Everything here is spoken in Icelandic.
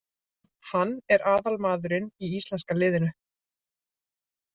Hann er aðal maðurinn í íslenska liðinu.